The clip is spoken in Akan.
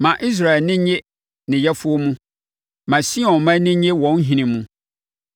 Ma Israel ani nnye ne Yɛfoɔ mu. Ma Sion mma ani nnye wɔn Ɔhene mu.